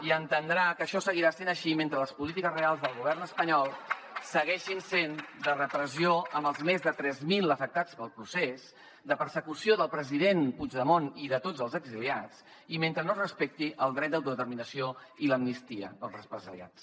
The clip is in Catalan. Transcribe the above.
i ha d’entendre que això seguirà sent així mentre les polítiques reals del govern espanyol segueixin sent de repressió amb els més de tres mil afectats pel procés de persecució del president puigdemont i de tots els exiliats i mentre no es respecti el dret d’autodeterminació i l’amnistia per als represaliats